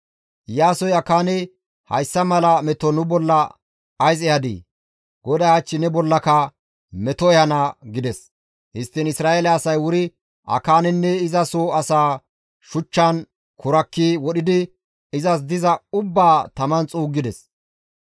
Iyaasoy Akaane, «Hayssa mala meto nu bolla ays ehadii? GODAY hach ne bollaka meto ehana» gides. Histtiin Isra7eele asay wuri Akaanenne iza soo asaa shuchchan kurakki wodhidi izas diza ubbaa taman xuuggides.